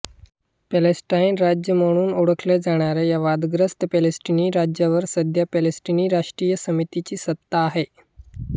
Palestine राज्य म्हणून ओळखल्या जाणाऱ्या या वादग्रस्त पॅलेस्टिनी राज्यावर सध्या पॅलेस्टिनी राष्ट्रीय समितीची सत्ता आहे